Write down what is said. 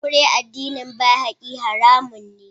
Aure addinin Baha'i haramun ne.